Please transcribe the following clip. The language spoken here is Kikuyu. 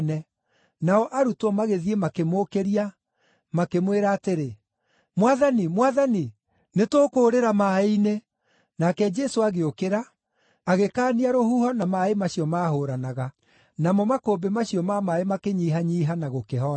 Nao arutwo magĩthiĩ makĩmũũkĩria, makĩmwĩra atĩrĩ “Mwathani! Mwathani! Nĩtũkũũrĩra maaĩ-inĩ!” Nake Jesũ agĩũkĩra agĩkaania rũhuho na maaĩ macio maahũũranaga; namo makũmbĩ macio ma maaĩ makĩnyihanyiiha na gũkĩhoorera.